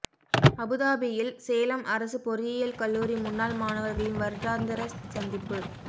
அபுதாபியில் சேலம் அரசு பொறியியல் கல்லூரி முன்னாள் மாணவர்களின் வருடாந்திர சந்திப்பு